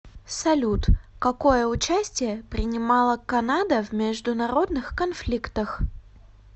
салют какое участие принимала канада в международных конфликтах